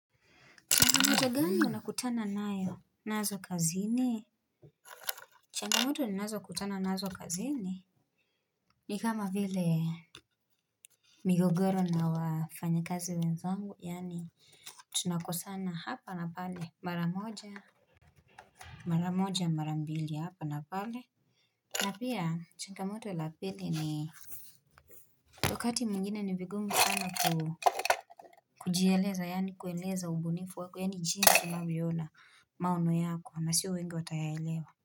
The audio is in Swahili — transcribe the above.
Nyota gani unakutana nazo kazini. Changamoto ninazo kutana nazo kazini ni kama vile migogoro na wafanyakazi wenzangu yani tunakosana hapa na pale mara moja mara mbili hapa na pale. Na pia changamoto la pili ni wakati mwingine ni vigumu sana ku kujieleza yani kueleza ubunifu wako yani jinsi unavyoona maono yako na sio wengi watayaelewa.